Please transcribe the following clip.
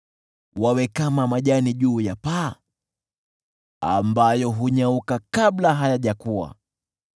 Wawe kama majani juu ya paa, ambayo hunyauka kabla hayajakua;